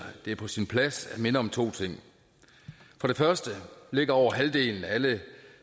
det er på sin plads at minde om to ting for det første ligger over halvdelen af alle